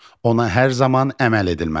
ona hər zaman əməl edilməlidir.